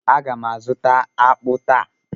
a ga m azuta akpu taa.